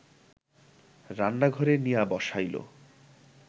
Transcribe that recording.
রান্নাঘরে নিয়া বসাইল